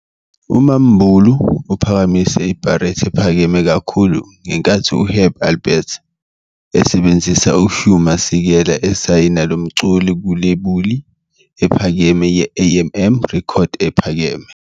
uMa'Mbulu uphakamise ibharethi ephakeme kakhulu ngenkathi uHerb Alpert, esebenzisa uHugh Masekela, esayina lo mculi kwilebuli ephakeme ye-AandM Records ephakeme.